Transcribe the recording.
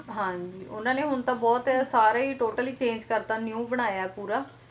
ਹਾਂਜੀ ਉਹਨਾਂ ਨੇ ਹੁਣ ਤਾਂ ਬਹੁਤ ਸਾਰੇ ਹੀ total ਹੀ change ਕਰਤਾ new ਬਣਾਇਆ ਪੂਰਾ